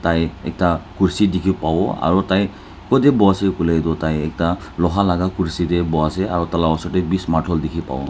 Tai ekta kursi dikhi pawo aro tai kutae boase koilae tu tai ekta loha laka kursi tae boiase aro tala osor tae brish martul dikhipawo.